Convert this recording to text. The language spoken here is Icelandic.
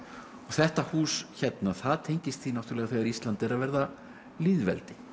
þetta hús hérna það tengist því náttúrulega þegar Ísland er að verða lýðveldi